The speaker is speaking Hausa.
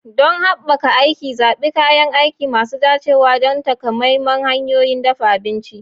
Don haɓaka aiki, zaɓi kayan aiki masu dacewa don takamaiman hanyoyin dafa abinci.